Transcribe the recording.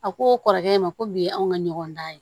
A ko o kɔrɔkɛ ma ko bi anw ka ɲɔgɔn dan ye